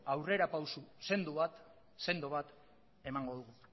aurrerapauso sendo bat emango dugu